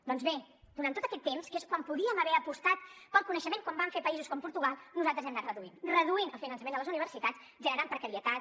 doncs bé durant tot aquest temps que és quan podíem haver apostat pel coneixement com van fer països com portugal nosaltres l’hem anat reduint reduint el finançament a les universitats generant precarietat